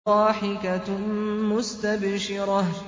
ضَاحِكَةٌ مُّسْتَبْشِرَةٌ